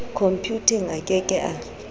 khompuyuteng a ke ke a